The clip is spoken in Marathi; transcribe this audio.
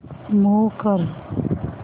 मूव्ह कर